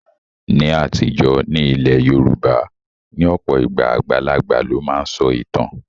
Ní àtijọ́, ní ilẹ̀ Yorùbá, ní ọ̀pọ̀ ìgbà, àgbàlagbà ló máa ń sọ ìtàn